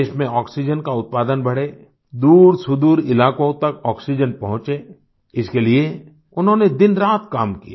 देश में ऑक्सीजन का उत्पादन बढे दूरसुदूर इलाकों तक ऑक्सीजन पहुंचे इसके लिए उन्होंने दिनरात काम किया